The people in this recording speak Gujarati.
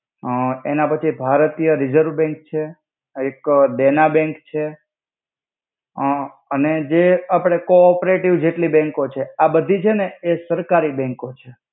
અ એના પાછી ભારતીય રિસર્વે બેંન્ક છે. એક દેના બેંન્ક છે. અ અને જે આપડે કો-ઓપેરટિવ બેંન્કો છે, આ બધી છેને સરકારી બેંન્કો છે.